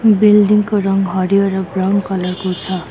Building को रङ हरियो र ब्राउन कलर को छ।